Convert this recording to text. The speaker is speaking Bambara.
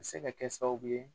A bɛ se ka kɛ sababu ye